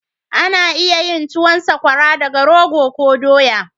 Ana iya yin tuwan sakwara daga rogo ko dowa